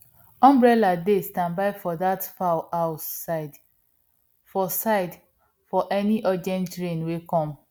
umbrella dey standby for dat fowl house side for side for any urgent rain wey come